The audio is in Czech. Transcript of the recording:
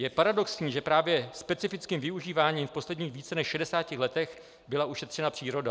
Je paradoxní, že právě specifickým využíváním v posledních více než 60 letech byla ušetřena příroda.